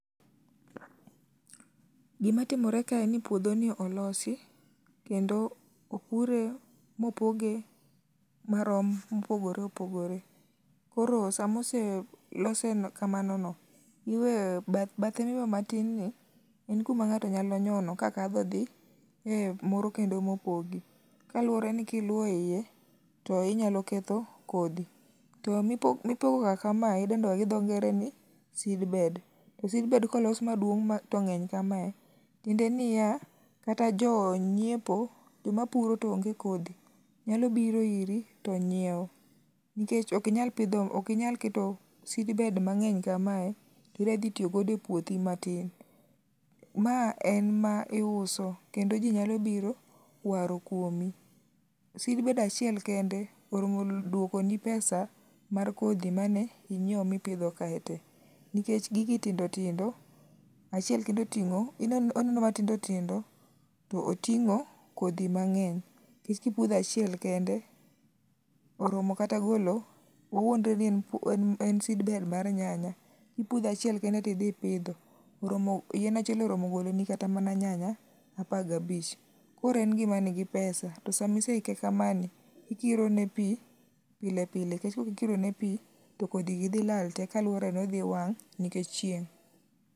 Gima timore kae en ni puodhoni olosi kendo opure, mopoge marom mopogore opogore. Koro sama oselose kamano no, iweyo bathe mowe matin ni en kuma ng'ato nyalo nyono kadhi e moro kendo mopogi kaluwore ni ka iluwo iye to inyalo ketho kodhi to mipogoga kamae idendo gi dho nger ni seedbed. To seedbed kolos maduong' to ng'eny kamae tiende niya kata jonyiepo, joma puro to onge kodhi nyalo biro iri to nyiewo nikech ok inyal keto seedbed mang'eny kamae to idwa dhi tiyo godo e puothi matin. Ma en miuso kendo ji nyalo biro waro kuomi. Seed bed achiel kende oromo duokoni pesa mar kodhi mane inyiewo ma ipidho kae te nikech gigi tndo tindo, achiel kende oting'ooneno matindo tindo to oting'o kodhi mang'eny. Ka ipudho achiel kende oromo kata golowawuondre ni en seedbed mar nyanya, kipudho achiel kende to idhi ipidho yien achiel oromo goloni kata mana nyanya apar gabich koro en gima nigi pesa to sama ise ike kamani, ikirone pi pile pile nikech kaok ikirone pi to kodhi gi dhi lal te kendo dhi wang' nikech chieng'